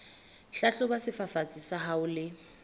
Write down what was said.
hlahloba sefafatsi sa hao le